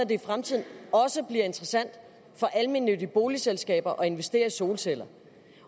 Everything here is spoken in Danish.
i fremtiden også bliver interessant for almennyttige boligselskaber at investere i solceller